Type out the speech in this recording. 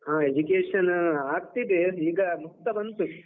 ಹಾ education ಆಗ್ತಿದೆ, ಈಗ ಮುಗ್ತಾ ಬಂತು.